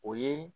O ye